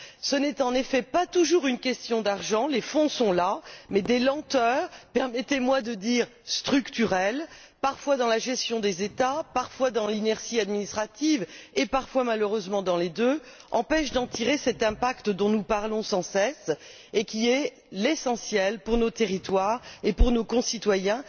Ce n'est en effet pas toujours une question d'argent, les fonds sont là, mais des lenteurs permettez moi de dire structurelles, parfois dans la gestion des États, parfois dans l'inertie administrative, et parfois, malheureusement, dans les deux empêchent d'avoir cet impact dont nous parlons sans cesse et qui est essentiel pour nos territoires et pour nos concitoyens.